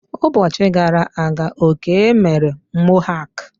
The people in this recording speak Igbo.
Ụbọchi gara aga Okey mere mohak.